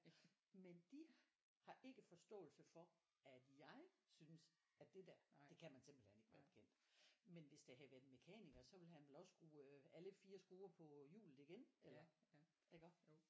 Men de har ikke forståelse for at jeg synes at det der det kan man simpelthen ikke være bekendt men hvis det havde været en mekaniker så ville han vel også skrue øh alle 4 skruer på hjulet igen eller iggå